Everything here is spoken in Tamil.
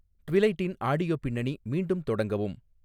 ட்விலைட்டின் ஆடியோ பின்னணி மீண்டும் தொடங்கவும்